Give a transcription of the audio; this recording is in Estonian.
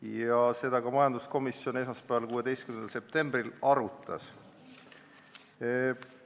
Ja seda majanduskomisjon esmaspäeval, 16. septembril arutaski.